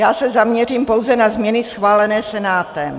Já se zaměřím pouze na změny schválené Senátem.